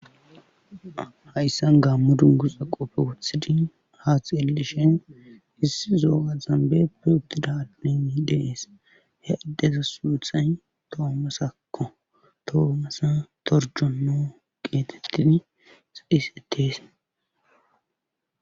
Haysan gaamo dunguza qope wothid ha xeelishe ssi zo'o gaxan berka utida Adey betes, he adeza sunthay tomasako, tomasa Toronmjono getetes.